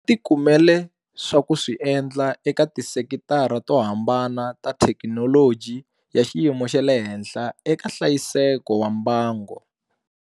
Va ti kumele swa ku swi endla eka tisekitara to hambana ta thekinoloji ya xiyimo xa le henhla eka hlayiseko wa mbango.